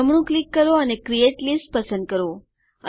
જમણું ક્લિક કરો અને ક્રિએટ લિસ્ટ પસંદ કરો